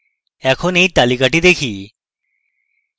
এখন এই তালিকাটি দেখা যাক